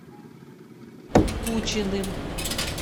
кучиным